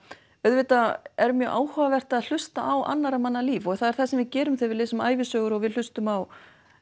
auðvitað er mjög áhugavert að hlusta á annarra manna líf og það er það sem við gerum þegar við lesum ævisögur og hlustum á